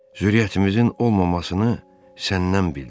Zürriyyətimizin olmamasını səndən bildim.